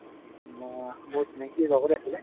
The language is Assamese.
ম মোৰ চিনাকি লগৰে আছিলে